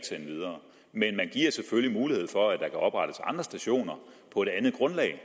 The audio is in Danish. sende videre men man giver selvfølgelig mulighed for at der kan oprettes andre stationer på et andet grundlag